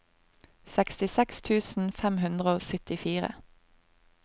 sekstiseks tusen fem hundre og syttifire